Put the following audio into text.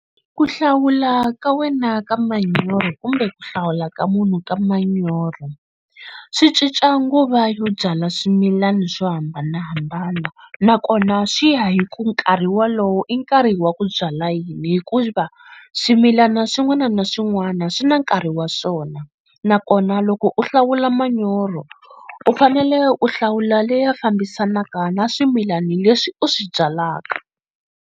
Ku hlawula ka wena ka manyoro kumbe ku hlawula ka munhu ka manyoro swi cinca nguva yo byala swimilana swo hambanahambana nakona swi ya hi ku nkarhi wolowo i nkarhi wa ku byala yini hikuva swimilana swin'wana na swin'wana swi na nkarhi wa swona nakona loko u hlawula manyoro u fanele u hlawula leya fambisanaka na swimilana leswi u swi byalaka.